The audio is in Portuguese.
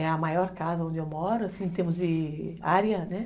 É a maior casa onde eu moro, assim, em termos de área, né?